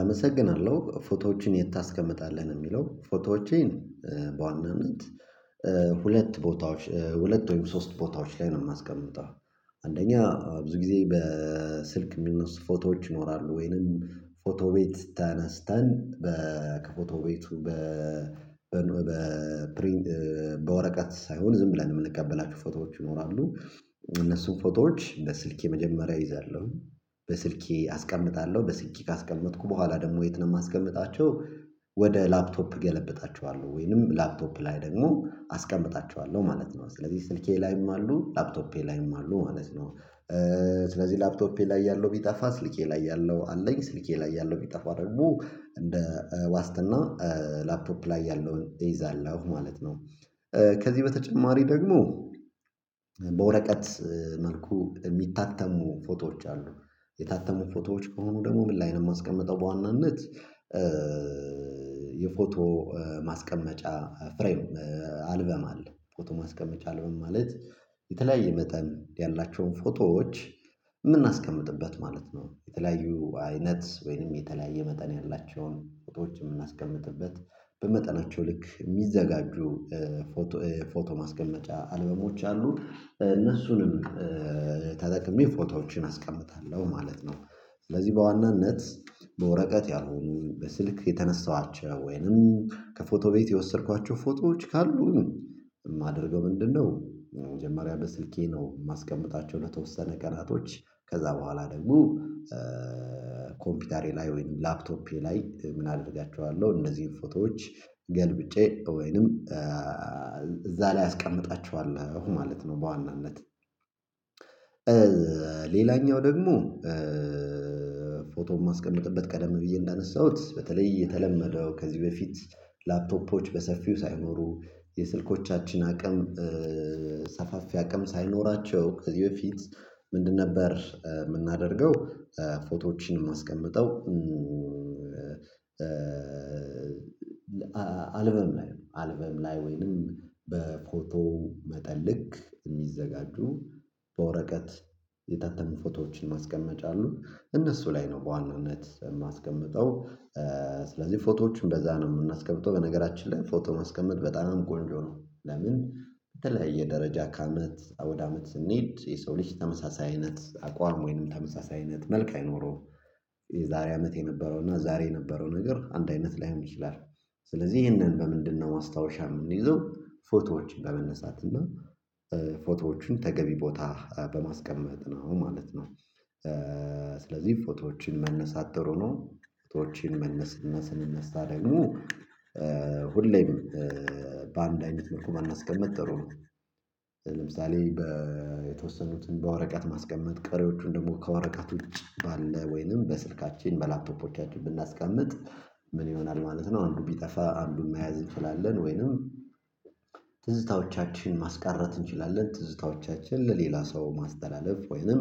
አመሰግናለሁ ፎቶዎችን የት ታስቀምጣለህ? የሚለው ፎቶዎቼን በዋናነት ሁለት ቦታዎች ሁለት ወይም ሶስት ቦታዎች ላይ ነው የማስቀምጠው አንደኛ ብዙ ጊዜ በስልክ የሚል ፎቶዎች ይኖራሉ ወይንም ፎቶ ቤት ተነስተን ከፎቶ ቤቱ በፕሪንት በወረቀት ሳይሆን ዝም ብለን የምንቀበላቸው ፎቶዎች ይኖራሉ እነሱን ፎቶዎች በስልኬ መጀመሪያ እይዛለሁ በስልኬ አስቀምጣለሁ በስኬ ካስቀመጥኩ በኋላ ደግሞ የት ነው የማስቀምጣቸው ወደ ላፕቶፕ እገለብጣቸዋለሁ ወይንም ላፕቶፕ ላይ ደግሞ አስቀምጣቸኋለሁ ማለት ነው ስለዚህ ስልኬ ላይም አሉ ላፕቶፔ ላይም አሉ ማለት ነው ስለዚህ ላፕቶፔ ላይ ያለው ቢጠፋ ስልኬ ላይ ያለው አለኝ ስልኬ ላይ ያለው ቢጠፋ አድርጎ እንደ ዋስትና ላፕቶፕ ላይ ያለውን እይዛለሁ ማለት ነው ከዚህ በተጨማሪ ደግሞ በወረቀት መልኩ የሚታተሙ ፎቶዎች አሉ የታተሙ ፎቶዎች ከሆኑ ደግሞ ምን ላይ ነው የማስቀመጠው በዋናነት የፎቶ ማስቀመጫ ፍሬም አልበም አለ ፎቶ ማስቀመጫ አልበም ማለት የተለያየ መጠን ያላቸውን ፎቶዎች የምናስቀምጥበት ማለት ነው የተለያዩ አይነት ወይንም የተለያየ መጠን ያላቸውን ፎቶዎች የምናስቀምጥበት በመጠናቸው ልክ የሚዘጋጁ ፎቶ ማስቀመጫ አልበሞች አሉ እነሱንም ተጠቅሜ ፎቶዎችን አስቀምጣለሁ ማለት ነው ስለዚህ በዋናነት በወረቀት ያሁን በስልክ የተነሳኋቸው ወይንም ከፎቶ ቤት የወሰድኳቸው ፎቶዎች ካሉ የማደርገው ምንድነው መጀመሪያ በስልኬ ነው የማስቀምጣቸው የተወሰነ ቀናቶች ከዛ በኋላ ደግሞ ኮምፒውተሬ ላይ ወይም ላፕቶፔ ላይ ምን አደርጋችኋለሁ እነዚህን ፎቶዎች ገልብጬ ወይንም እዛ ላይ አስቀምጣቸዋለሁ ማለት ነው በዋናነት ሌላኛው ደግሞ ፎቶም ማስቀመጥበት ቀደም ብዬ እንዳነሳሁት በተለይ የተለመደው ከዚህ በፊት ላፕቶፖች በሰፊው ሳይኖሩ የስልኮቻችን አቅም ሰፋፊ አቅም ሳይኖራቸው ከዚህ በፊት ምንድን ነበር የምናደርገው ፎቶዎችን የማስቀምጠው አልበርም አልበም ላይ ነው አልበም ላይ ወይንም በፎቶ መጠን ልክ የሚዘጋጁ በወረቀት የታተሙ ፎቶዎችን ማስቀመጫ አሉ። እነሱ ላይ ነው በዋናነት የማስቀምጠው ስለዚህ ፎቶዎችን በዛ ነው የምናስገብተው በነገራችን ላይ ፎቶ ማስቀመጥ በጣም ቆንጆ ነው ለምን በተለያየ ደረጃ ከአመት ወደ አመት ስንሄድ የሰው ልጅ ተመሳሳይ አይነት አቋም ወይንም ተመሳሳይ አይነት መልካም አይኖረውም የዛሬ አመት የነበረው እና ዛሬ የነበረው ነገር አንድ አይነት ላይሆን ይችላል ስለዚህ ይሄንን በምንድነው ማስታወሻ የምንይዘው ፎቶዎችን ለመነሳት እና ፎቶዎቹን ተገቢ ቦታ በማስቀመጥ ነው ማለት ነው ስለዚህ ፎቶዎችን መነሳት ጥሩ ነው ህይወቴን መነስነስን ስነሳ ደግሞ ሁሌም በአንድ አይነት መልኩ ባናስቀመጥ ጥሩ ነው ለምሳሌ የተወሰኑትን በወረቀት ማስቀመጥ ቀሪዎቹን ደግሞ ከወረቀት ውጭ ባለ ወይንም በስልካችን በላፕቶፖቻችን ብናስቀምጥ ምን ይሆናል ማለት ነው አንዱ ቢጠፋ አንዱን መያዝ እንችላለን ወይንም ትዝታዎቻችን ማስቀረት እንችላለን ትዝታዎቻችን ለሌላ ሰው ማስተላለፍ ወይንም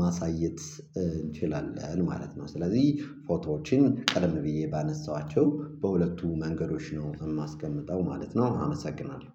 ማሳየት እንችላለን ማለት ነው ስለዚህ ፎቶዎችን ቀረም ብዬ ባነሳኋቸው በሁለቱ መንገዶች ነው የማስቀምጠው ማለት ነው አመሰግናለሁ